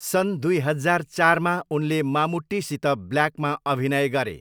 सन् दुई हजार चारमा, उनले मामुट्टीसित ब्ल्याकमा अभिनय गरे।